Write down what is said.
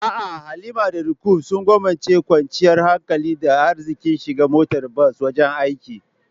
A'a Halima da Roqeeb sun gwammace kwanciyar hankali da arziƙin shiga motar bas wajen aiki.